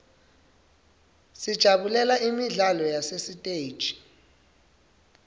sijabulela imidlalo yasesiteji